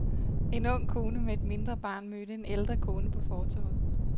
En ung kone med et mindre barn mødte en ældre kone på fortovet.